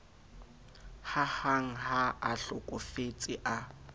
hahang ha a hlokofetse a